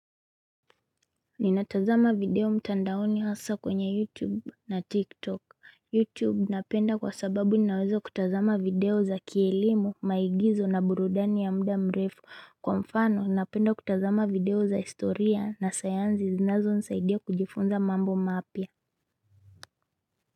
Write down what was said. Ninatazama video mtandaoni hasa kwenye Youtube na Tik tok. Youtube napenda kwa sababu ninawezo kutazama video za kielimu maigizo na burudani ya muda mrefu. Kwa mfano napenda kutazama video za historia na sayansi zinazo nisaidia kujifunza mambo mapia.